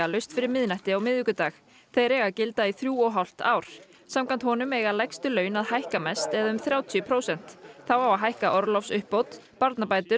laust fyrir miðnætti á miðvikudag þeir eiga að gilda í þrjú og hálft ár samkvæmt þeim eiga lægstu laun að hækka mest eða um þrjátíu prósent þá á að hækka orlofsuppbót barnabætur